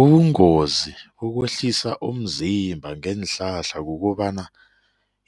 Ubungozi bokwehlisa umzimba ngeenhlahla kukobana